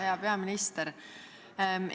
Hea peaminister!